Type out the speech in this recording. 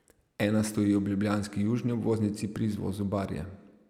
Ena stoji ob ljubljanski južni obvoznici pri izvozu Barje.